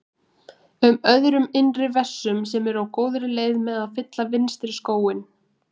um öðrum innri vessum sem eru á góðri leið með að fylla vinstri skóinn.